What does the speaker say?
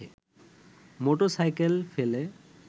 motorcycle ফেলে